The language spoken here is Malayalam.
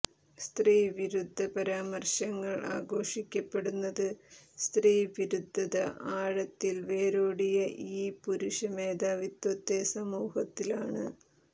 സ്ത്രീവിരുദ്ധ പരാമർശങ്ങൾ ആഘോഷിക്കപ്പെടുന്നത് സ്ത്രീവിരുദ്ധത ആഴത്തിൽ വേരോടിയ ഈ പുരുഷമേധാവിത്വ സമൂഹത്തിലാണ്